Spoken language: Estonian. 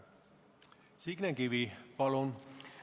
Signe Kivi, palun!